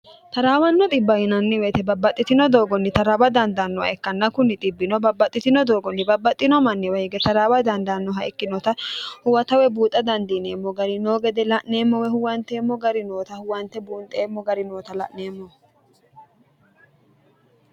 taraawanno dhibba yinanni weyite babbaxxitino doogonni taraawa dandaannoha ikkanna kunni xibbino babbaxxitino doogonni babbaxxino manniwa hige taraawa dandaannoha ikkinota huwata woy buuxa dandiineemmo gari noo gede la'neemmo woy huwanteemmo gari noota huwante buunxeemmo gari noota la'neemmo.